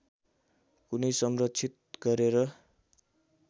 कुनै संरक्षित गरेर